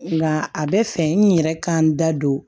Nka a bɛ fɛ n yɛrɛ ka n da don